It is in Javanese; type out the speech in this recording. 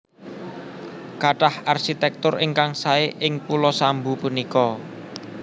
Kathah arsitektur ingkang sae ing pulo Sambu punika